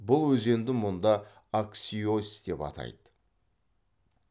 бұл өзенді мұнда аксьос деп атайды